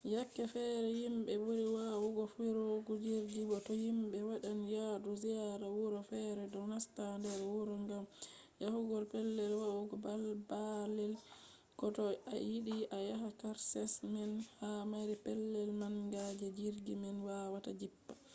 yake fere himɓe ɓuri wawugo firugo jirgi to himɓe waɗan yadu ziyara wuro fere ɗo nasta nder wuro ngam yahugo pellel wa’ugo baalle ko to a yiɗi a yaha karshe man ha mari pellel manga je jirgi man wawata jippa